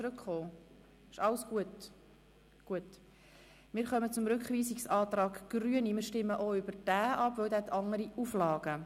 Wir stimmen auch über den Rückweisungsantrag der Grünen ab, denn er hat andere Auflagen.